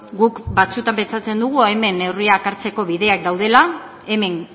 guk batzuetan pentsatzen dugu hemen neurriak hartzeko bideak daudela hemen